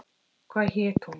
Hvað hét hún?